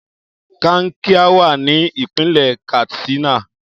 Kankia wa ni ipinle Katsina.